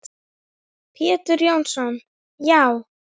Pétur Jónsson Já.